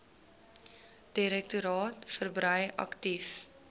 direktoraat verbrei aktief